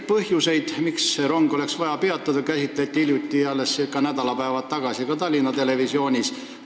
Põhjuseid, miks see rong oleks vaja peatada, käsitleti alles hiljuti, nädalapäevad tagasi ka Tallinna Televisioonis.